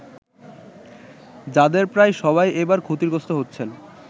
যাদের প্রায় সবাই এবার ক্ষতিগ্রস্ত হচ্ছেন।